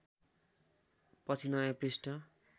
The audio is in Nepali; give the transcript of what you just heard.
पछि नयाँ पृष्ठ